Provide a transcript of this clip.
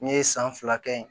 N ye san fila kɛ yen